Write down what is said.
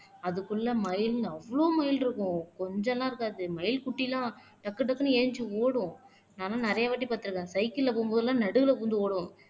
அதுக்குள்ள மயில்ன்னு அவ்வளவு மயில் இருக்கும் கொஞ்சம் எல்லாம் இருக்காது மயில் குட்டி எல்லாம் டக்டக்குனு எந்திரிச்சு ஓடும் நானும் நிறையவாட்டி பார்த்திருக்கேன் சைக்கிள்ல போகும்போது எல்லாம் நடுவுல புகுந்து ஓடும்